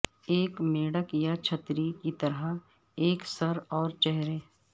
ایک میڑک یا چھتری کی طرح ایک سر اور چہرے